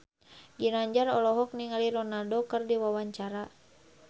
Ginanjar olohok ningali Ronaldo keur diwawancara